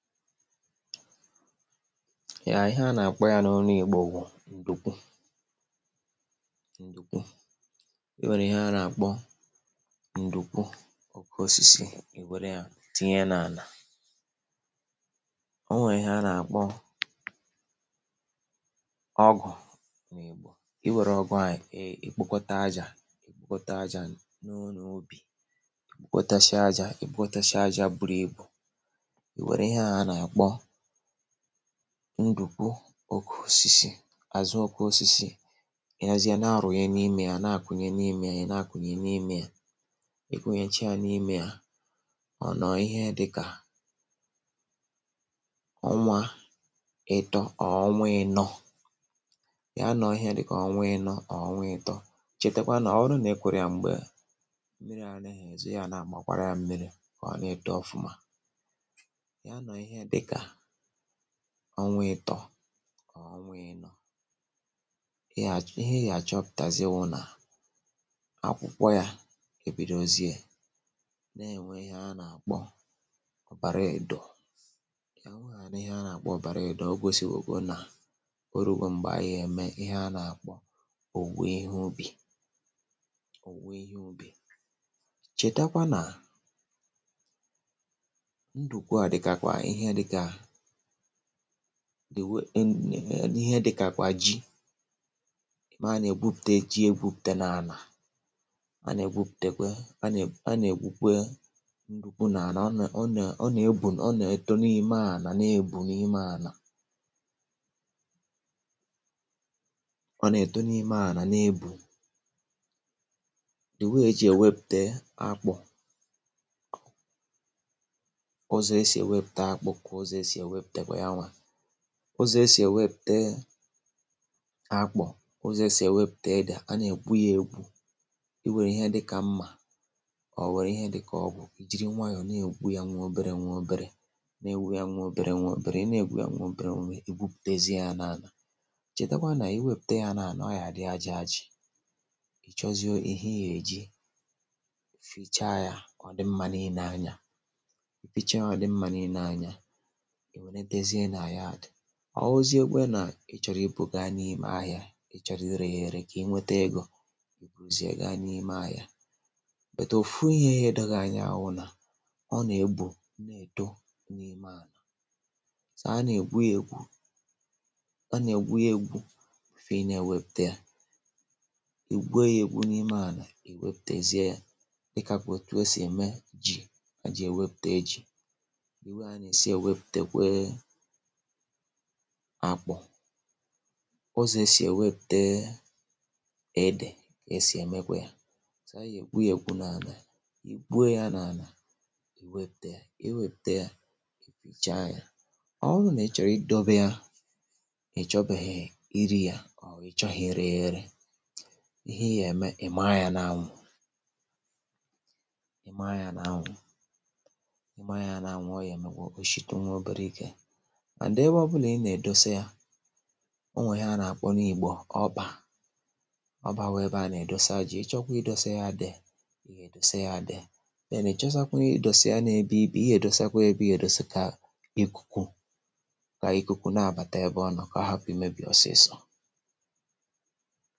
Ya ihe a na-akpọ ya n’ọnụ igbo wụ̀ ndukwu ndukwu, ị were ihe a na-akpọ ndukwu oke osisi ịnwere ya tinye n’ana, o nwee ihe a na-akpọ, ọgụ, i were ọgụ a ikpokọta aja, ikpọta aja wunye n’ọnụ obi, kotesịa aja, ikpọtesịa aja buru ibu, iwere ihe na-akpọ ndukwu oke osisi azụ oke osisi, ihazia na-arụ ya n’ime ya na-akụnye n’ime ya ya na-akụnye n’ime ya, e kụnyechaa n’ime ya, ọ nọọ ihe dị ka, ọnwa ịtọ ọ ọnwa ịnọ, ya nọ ihe dị ka ọnwa ịnọ ọ ọnwa ịtọ, chetakwa na ọ bụrụ na e kuru ya m̀gbè mmiri ana ezu ịga na gbakwaara ya mmiri ka ọ na-eto ọfụma, ya noo ihe dịka, ọnwa ịtọ ọọ ọnwa ịnọ, ihe ya achọpụtazie wụ na akwụkwọ ya ebidozie na-enwe ihe a na-akpọ ọbaraedo, onwegha ihe a na-akpọ ọbaraedo o gosiwoke na o rugo mgbe anyị eme ihe a na-akpọ owuwe ihe ubi, owuwe ihe ubi, chetakwa na ndukwu dịkwa ka ihe dịka wù ihe dị ka kwa ji, maa na-egwupute ji egwupute n’ana, a na-egwuputekwe a na-egwukwe ndukwu n’ana ọ na ọ na-egwù ọ na-etȯ n’ime ana na-ebu n’ime ana ọ na-eto n’ime ana na-ebu, de way ejì ewepute akpụ, ụzọ e si ewepute akpọ̀ ka ụzọ e si ewepute kwe yawa, ụzọ esị ewepute akpu, ụzọ esị ewepute ede, a na-egwu ya egwu, i were ihe dị ka mma ọ were ihe dị ka ọgụ, jiri nwayọ na-egwu ya nwe obere nwe obere, na-egwu ya nwe obere nwe obere, ị na-egwu ya nwe obere nwe i gwuputezie ya n’ana, chètakwa na i wepute ya n’ana ọ ya dị aja aja, i chọzio ihe ya eji fichaa ya ọ dị mma n’ine anya, ifichaa yá ọ dị mma n'ine anya, iwere tezie na yadị, ọ wụziekwe nà ị chọrọ ibù gá n'ime ahịa, ị chọrọ ire ya ere ka inweta egȯ, ị buzie ya ga ime ahịa, bụ̀tụ̀ ofu ihe yá edo gị anya awụ̇ nà, ọ na-egbu̇ edo n’ime ànà, so a na-egwu ya egwù, ọ na-egwu ya egwu̇ before ị na-ewepute ya, i gwuo ya egwu n’ime ànà i weputezie ya, dịka kwà o tua si eme ji, eji ewepute ji, de way ana esị ewepute kwa akpụ̇, ụzọ̀ e si eweputee edè, ka esi emekwe yȧ, so agha egwu ya egwu na-anà, ịgwuo ya n’ana iweputee ya, iweputee ya, ịpicha ya, ọ wụrụ nà ị chọrọ idọbe yȧ, na ị̀ chọbeghị̇ iri yȧ, ọ̀ ị̀chọghi ire ya ere, ihe ya-eme, ị̀ maa ya n’anwụ̇, ị̀ maa ya n’anwụ̇, ị̀ maa ya n’anwụ̇ ọ yà-emekwa oshitu nwa obere ike, and ebe ọbụla ị na-edosịa, onwe ya na-akpọ n’ìgbo ọbà, ọbà wú ebe a na-edosa ji, ị chọkwa ị dosa ya a ede, i ya edose ya a ede, then ị chosakwa ị dose ya na-ebe ibe, ihe edosakwa ebe ihe dosi ka ikuku, ka ikuku na-abata ebe ọ nọ ka ọ hapụ imebi ọsịsọ.